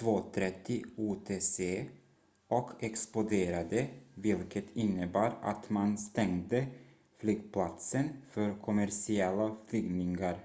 2.30 utc och exploderade vilket innebar att man stängde flygplatsen för kommersiella flygningar